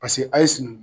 Paseke a ye sinankunya